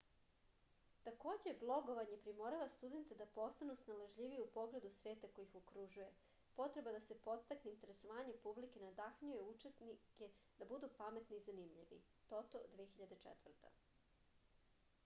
такође блоговање приморава студенте да постану сналажљивији у погледу света који их окружује”. потреба да се подстакне интересовање публике надахњује ученике да буду паметни и занимљиви тото 2004